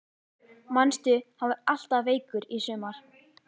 Manstu hann var alltaf veikur í sumar?